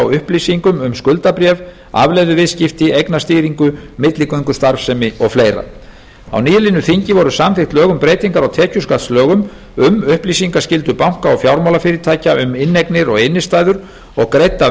upplýsingum um skuldabréf afleiðuviðskipti eignastýringu milligöngustarfsemi og fleira á nýliðnu þingi voru samþykkt lög um breytingar á tekjuskattslögum um upplýsingaskyldu banka og fjármálafyrirtækja um inneignir og innstæður og greidda